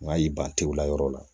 N'a y'i ban tew la yɔrɔ la